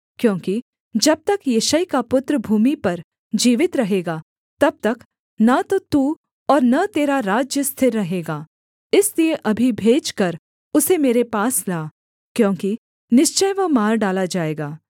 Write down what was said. क्योंकि जब तक यिशै का पुत्र भूमि पर जीवित रहेगा तब तक न तो तू और न तेरा राज्य स्थिर रहेगा इसलिए अभी भेजकर उसे मेरे पास ला क्योंकि निश्चय वह मार डाला जाएगा